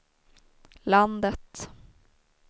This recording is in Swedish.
landet